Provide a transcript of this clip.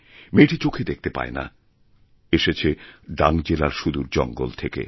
মেয়েটি চোখে দেখতে পায় না এসেছে ডাং জেলার সুদূর জঙ্গলথেকে